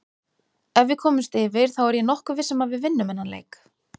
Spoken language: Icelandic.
Ef við komumst yfir þá er ég nokkuð viss um að við vinnum þennan leik.